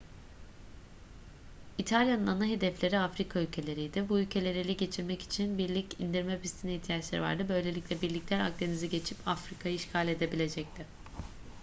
i̇talya'nın ana hedefleri afrika ülkeleriydi. bu ülkeleri ele geçirmek için birlik indirme pistine ihtiyaçları vardı böylelikle birlikler akdeniz'i geçip afrika'yı işgal edebilecekti